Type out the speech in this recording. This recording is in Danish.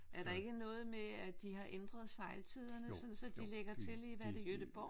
Er der ikke noget med at de har ændret sejltiderne sådan så de de lægger til i hvad er det Gøteborg?